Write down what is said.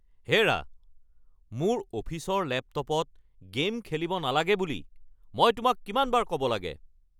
হেৰা, মোৰ অফিচৰ লেপটপত গে'ম খেলিব নালাগে বুলি মই তোমাক কিমানবাৰ ক'ব লাগে?